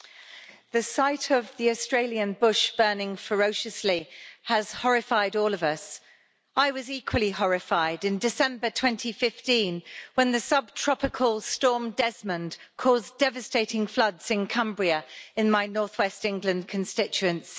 Madam President, the sight of the Australian bush burning ferociously has horrified all of us. I was equally horrified in December 2015 when the subtropical storm Desmond caused devastating floods in Cumbria in my North West England constituency.